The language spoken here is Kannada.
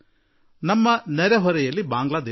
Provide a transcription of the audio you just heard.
ನಮ್ಮ ನೆರೆಯಲ್ಲಿ ಬಾಂಗ್ಲಾ ದೇಶವಿದೆ